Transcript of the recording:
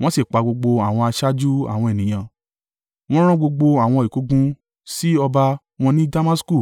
wọ́n sì pa gbogbo àwọn aṣáájú àwọn ènìyàn. Wọ́n rán gbogbo àwọn ìkógun sí ọba wọn ní Damasku.